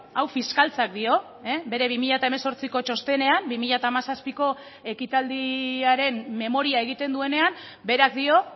hau fiskaltzak dio bere bi mila hemezortziko txostenean bi mila hamazazpiko ekitaldiaren memoria egiten duenean berak dio